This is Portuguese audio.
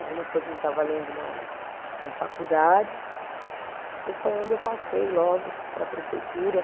Algumas coisas eu estava lendo na na, na faculdade e foi onde eu passei logo para a prefeitura.